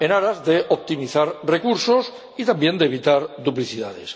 en aras de optimizar recursos y, también, de evitar duplicidades.